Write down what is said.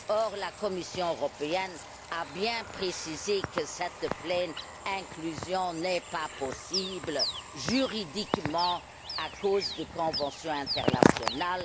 Or, la Commission européenne a bien précisé que cette pleine inclusion n'est pas possible juridiquement à cause de conventions internationales.